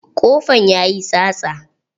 Ƙofan yayi tsatsa.